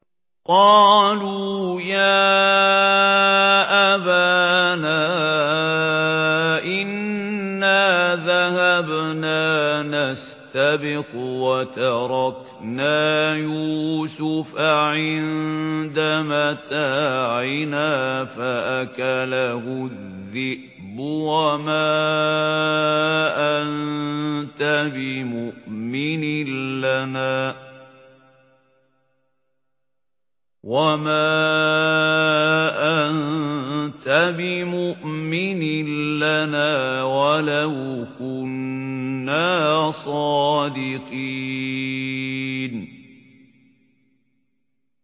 قَالُوا يَا أَبَانَا إِنَّا ذَهَبْنَا نَسْتَبِقُ وَتَرَكْنَا يُوسُفَ عِندَ مَتَاعِنَا فَأَكَلَهُ الذِّئْبُ ۖ وَمَا أَنتَ بِمُؤْمِنٍ لَّنَا وَلَوْ كُنَّا صَادِقِينَ